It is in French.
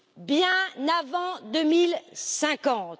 bien avant 2050.